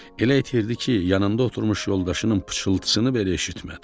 Elə itirdi ki, yanında oturmuş yoldaşının pıçıltısını belə eşitmədi.